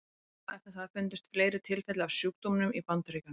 Skömmu eftir það fundust fleiri tilfelli af sjúkdómnum í Bandaríkjunum.